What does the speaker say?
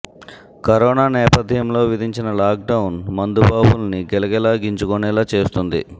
corona నేపథ్యంలో విధించిన lockdown మందు బాబుల్ని గిలగిలా గింజుకునేలా చేస్తోంది